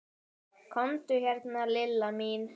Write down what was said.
Komdu hérna Lilla mín.